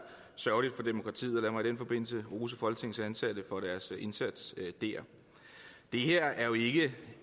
sørgeligt for demokratiet og lad mig i den forbindelse rose folketingets ansatte for deres indsats der det her er jo ikke